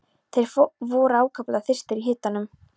Þeir voru ákaflega þyrstir í hitanum.